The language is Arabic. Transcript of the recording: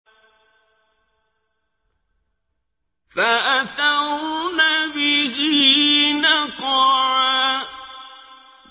فَأَثَرْنَ بِهِ نَقْعًا